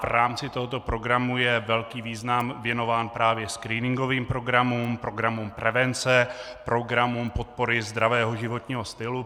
V rámci tohoto programu je velký význam věnován právě screeningovým programům, programům prevence, programům podpory zdravého životního stylu.